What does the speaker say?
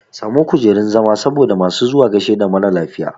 Samo kujurun zama saboda masu zuwa gaishe da maralafiya